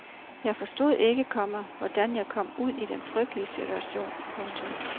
Jeg forstod ikke, komma hvordan jeg kom ud i den frygtelige situation. punktum